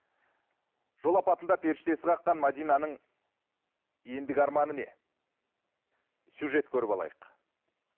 жол апатында періштесі қаққан мәдинаның ендігі арманы не сюжет көріп алайық